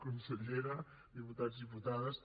consellera diputats diputades